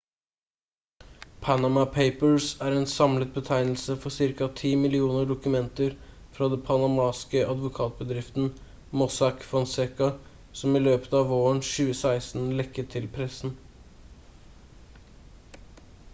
«panama papers» er en samlet betegnelse for ca. 10 millioner dokumenter fra det panamanske advokatbedriften «mossack fonseca» som i løpet av våren 2016 lekket til pressen